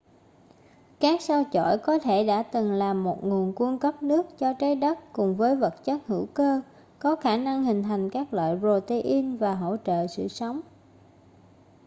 các sao chổi có thể đã từng là một nguồn cung cấp nước cho trái đất cùng với vật chất hữu cơ có khả năng hình thành các loại protein và hỗ trợ sự sống